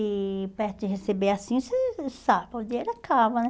E perto de receber assim, você sabe, o dinheiro acaba, né?